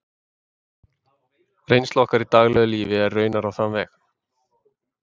Reynsla okkar í daglegu lífi er raunar á þann veg.